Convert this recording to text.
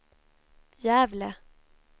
Gävle